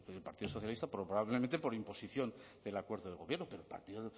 es decir el partido socialista probablemente por imposición del acuerdo de gobierno pero el partido